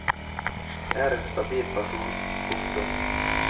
Jeg er en stabil person. punktum